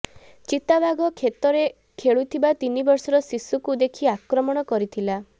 ଚିତାବାଘ କ୍ଷେତରେ ଖେଳୁଥିବା ତିନିବର୍ଷର ଶିଶୁକୁ ଦେଖି ଆକ୍ରମଣ କରିଥିଲା